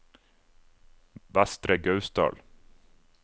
Vestre Gausdal